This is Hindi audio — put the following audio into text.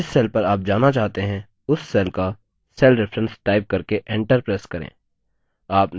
अब जिस cell पर आप जाना चाहते हैं उस cell का cell reference type करके enter press करें